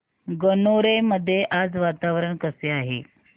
गणोरे मध्ये आज वातावरण कसे आहे